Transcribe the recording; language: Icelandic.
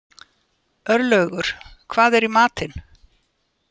Örlaugur, hvað er í matinn?